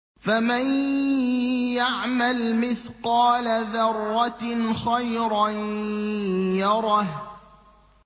فَمَن يَعْمَلْ مِثْقَالَ ذَرَّةٍ خَيْرًا يَرَهُ